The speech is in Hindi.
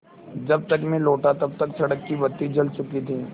जब तक मैं लौटा तब तक सड़क की बत्ती जल चुकी थी